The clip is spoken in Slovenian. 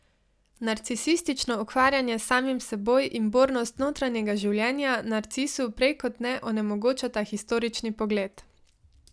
Narcisistično ukvarjanje s samim seboj in bornost notranjega življenja narcisu prej kot ne onemogočata historični pogled.